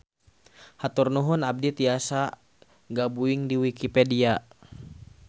Hatur nuhun abdi tiasa gabuing di wikipedia.